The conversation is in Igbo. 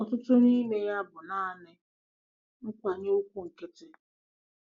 "Ọtụtụ n'ime ya bụ naanị nkwanye ùgwù nkịtị."